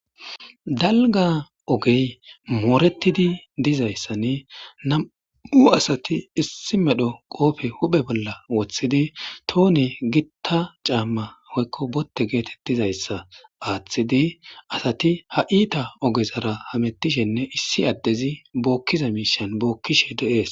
dalga ogey mooretidi dizayssanne nam7u asati issi medho qoofe huphe bolla woththidi tooni gitta caamma hoykko botte geetettizayssa aaththidi asati ha iita ogezara hamettishenne issi addezi bookkiza miishan bookkishe de7ees